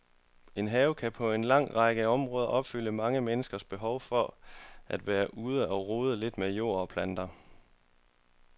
En have kan på en lang række områder opfylde mange menneskers behov for at være ude og rode lidt med jord og planter.